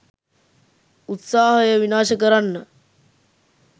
උත්සාහය විනාශ කරන්න